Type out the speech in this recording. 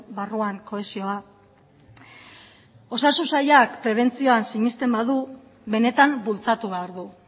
barruan kohesioa osasun sailak prebentzioan sinesten badu benetan bultzatu behar du